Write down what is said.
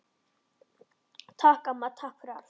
Takk, amma, takk fyrir allt.